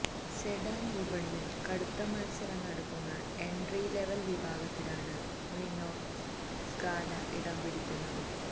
sedan വിപണിയില് കടുത്ത മത്സരം നടക്കുന്ന എന്ട്രി ലെവല് വിഭാഗത്തിലാണ് റിനോ സ്കാല ഇടം പിടിക്കുന്നത്